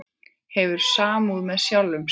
Hefur samúð með sjálfum sér.